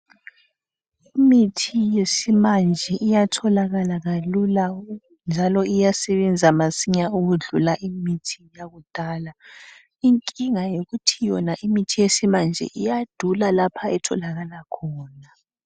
Imithi yesimanje iyatholakala kalula njalo iyasebenza masinya ukudlula imithi yakudala. Inkinga yokuthi yona imithi yesimanje iyadula lapha etholakala khona.